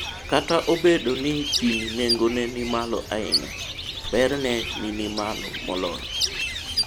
kata ka obedo ni gini nengone ni malo ahinya, berne ni malo moloyo